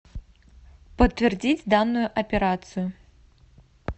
подтвердить данную операцию